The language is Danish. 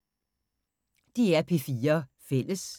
DR P4 Fælles